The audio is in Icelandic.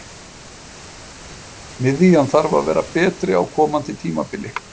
Miðjan þarf að vera betri á komandi tímabili.